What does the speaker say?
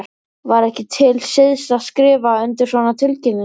Var ekki til siðs að skrifa undir svona tilkynningar?